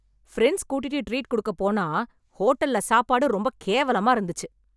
Friends கூட்டிட்டு treat கொடுக்கப் போனா ஹோட்டல்ல சாப்பாடு ரொம்ப கேவலமா இருந்துச்சு.